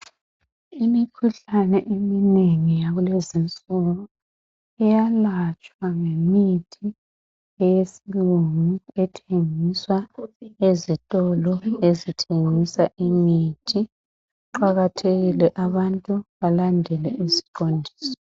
Imikhuhlane eminengi yakulezi nsuku iyalatshwa ngemithi eyesilungu ethengiswa ezitolo ezithengisa imithi, kuqakathekile abantu balandele iziqondiso.